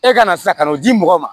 E ka na sisan ka n'o di mɔgɔ ma